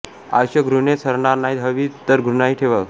आयुष्य घृणेत सरणार नाही हवीच तर घृणाही ठेव